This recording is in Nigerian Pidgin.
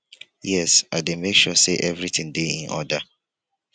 yes i dey make sure say everything dey in order